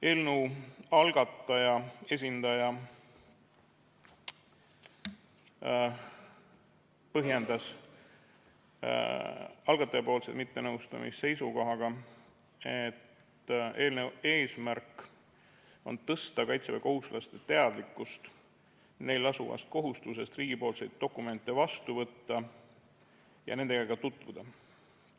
Eelnõu algataja esindaja põhjendas mittenõustumist seisukohaga, et eelnõu eesmärk on tõsta kaitseväekohustuslaste teadlikkust neil lasuvast kohustusest riigipoolseid dokumente vastu võtta ja nendega ka tutvuda.